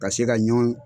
Ka se ka ɲɔn